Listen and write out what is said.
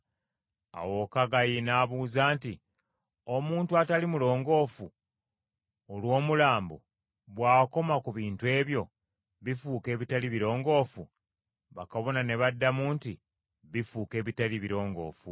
Awo Kaggayi n’abuuza nti, “Omuntu atali mulongoofu olw’omulambo, bw’akoma ku bintu ebyo, bifuuka ebitali birongoofu?” Bakabona ne baddamu nti, “Bifuuka ebitali birongoofu.”